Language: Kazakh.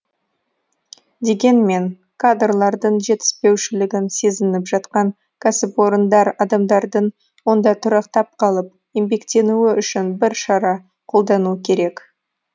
дегенмен кадрлардың жетіспеушілігін сезініп жатқан кәсіпорындар адамдардың онда тұрақтап қалып еңбектенуі үшін бір шара қолдану керек